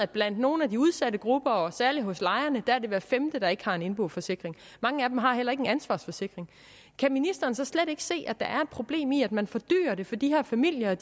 blandt nogle af de udsatte grupper og særlig hos lejerne er hver femte der ikke har en indboforsikring mange af dem har heller ikke en ansvarsforsikring kan ministeren slet ikke se at der er problem i at man fordyrer det for de her familier og